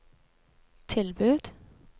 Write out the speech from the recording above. tilbud